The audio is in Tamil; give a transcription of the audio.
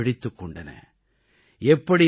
எதிர்பார்ப்புக்களும் விழித்துக் கொண்டன